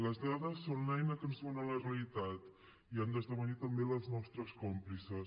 les dades són l’eina que ens duu a la realitat i han d’esdevenir també les nostres còmplices